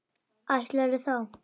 Ætlarðu þá.?